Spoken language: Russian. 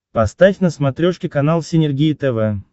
поставь на смотрешке канал синергия тв